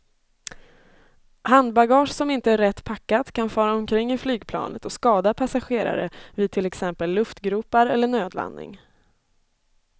Handbagage som inte är rätt packat kan fara omkring i flygplanet och skada passagerare vid till exempel luftgropar eller nödlandning.